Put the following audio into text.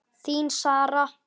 Þín, Sara.